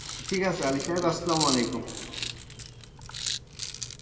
ঠিক আছে আসলাম আলাইকুম।